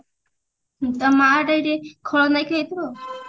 ତା ମାଆ ଟା ଏଠି ଖଳନାୟକ ହେଇଥିବ ଆଉ